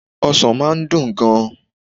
Ọsàn máa n dùn gan ni